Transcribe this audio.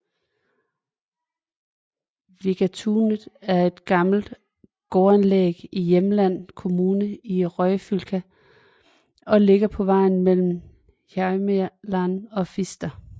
Vigatunet er et gammelt gårdanlæg i Hjelmeland kommune i Ryfylke og ligger på vejen mellem Hjelmeland og Fister